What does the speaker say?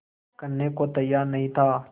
करने को तैयार नहीं था